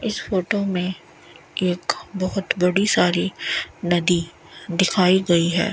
इस फोटो में एक बहोत बड़ी सारी नदी दिखाई गई है।